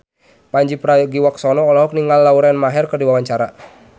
Pandji Pragiwaksono olohok ningali Lauren Maher keur diwawancara